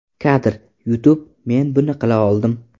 Kadr: YouTube Men buni qila oldim!